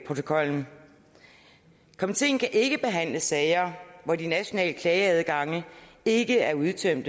protokollen komiteen kan ikke behandle sager hvor de nationale klageadgange ikke er udtømt